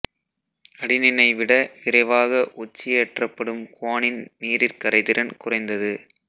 அடினினை விட விரைவாக ஒட்சியேற்றப்படும் குவானின் நீரிற் கரைதிறன் குறைந்தது